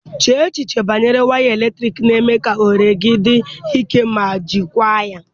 Chee echiche banyere wiwi eletriki, na-eme ka ohere gị dị ike ma jikwaa ya